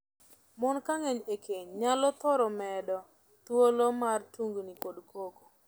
Mon ka ng'eny e keny nyalo thoro medo thuolo mar tungni kod koko.